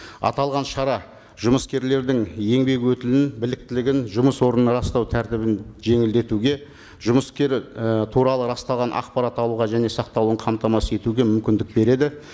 аталған шара жұмыскерлердің еңбек өтілін біліктілігін жұмыс орнын растау тәртібін жеңілдетуге жұмыскер і туралы расталған ақпарат алуға және сақталуын қамтамасыз етуге мүмкіндік береді